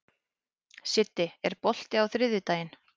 Siddi, er bolti á þriðjudaginn?